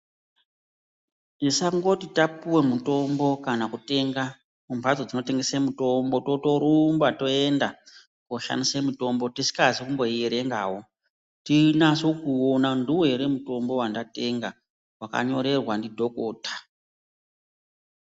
Tisangoti tapuwe mutombo kana kutenga kumhatso dzinotengese mitombo totorumba toenda koshandise mutombo tisikazi kumboierengawo tinase kuona ndiwo ere mutombo wandatenga wandanyorerwa ndidhokota.